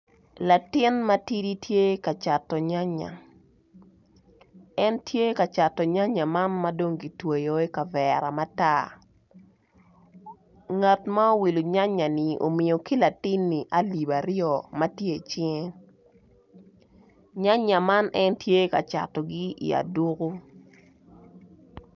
Latin matidi tye ka cato nyanya en tye ka cato nyanya man madong kitweyo i kavera matar ngat ma owilo nyanya ni omiyo ki latini alip aryo matye i cinge, nyanya man en tye ka catogi i aduku.